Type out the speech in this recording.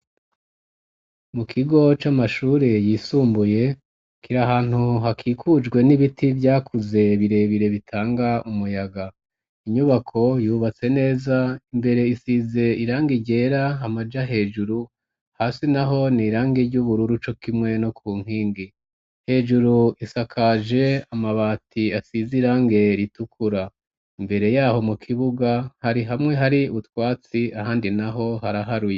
Mu kigo c'amashure yisumbuye kir’ahantu hakikujwe n'ibiti vyakuze birebire bitanga umuyaga ,inyubako yubatse neza imbere isize irangi ryera, hamaja hejuru hasi naho nirangi ry'ubururu co kimwe no ku nkingi ,hejuru isakaje amabati asize irange ritukura ,imbere yaho mu kibuga hari hamwe hari utwatsi ahandi naho haraharuye.